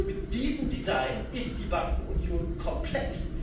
Mit diesem Design ist die Bankenunion komplett.